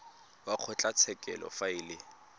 wa kgotlatshekelo fa e le